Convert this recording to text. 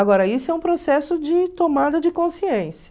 Agora, isso é um processo de tomada de consciência.